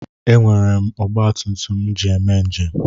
E nwere m ọgbatumtum m ji eme njem.